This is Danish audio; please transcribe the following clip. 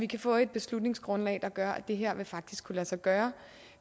kan få et beslutningsgrundlag der vil gøre at det her faktisk vil kunne lade sig gøre